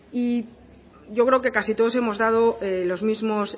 y yo creo que casi todos hemos dado los mismo